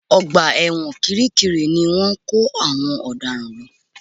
Ọgbà ẹ̀wọ̀n kiri kiri ni wọ́n ń kó àwọn ọ̀daràn lọ